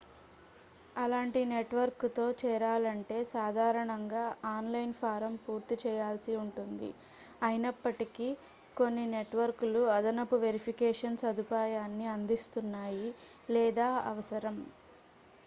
అలాంటి నెట్వర్క్తో చేరాలంటే సాధారణంగా ఆన్లైన్ ఫారమ్ పూర్తి చేయాల్సి ఉంటుంది అయినప్పటికీ కొన్ని నెట్వర్క్లు అదనపు వెరిఫికేషన్ సదుపాయాన్ని అందిస్తున్నాయి లేదా అవసరం